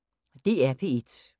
DR P1